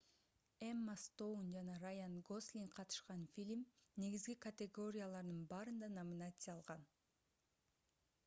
эмма стоун жана раян гослинг катышкан фильм негизги категориялардын баарында номинация алган